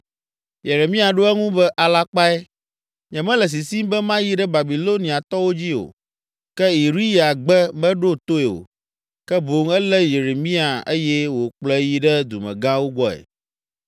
Yeremia ɖo eŋu be, “Alakpae, nyemele sisim be mayi ɖe Babiloniatɔwo dzi o.” Ke Iriya gbe meɖo toe o, ke boŋ elé Yeremia eye wòkplɔe yi ɖe dumegãwo gbɔe.